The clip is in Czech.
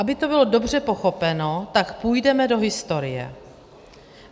Aby to bylo dobře pochopeno, tak půjdeme do historie.